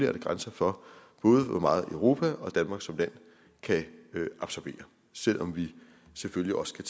er grænser for både hvor meget europa og danmark som land kan absorbere selv om vi selvfølgelig også